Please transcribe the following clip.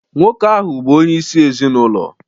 Nwoke ahụ bụ onyeisi ezinụlọ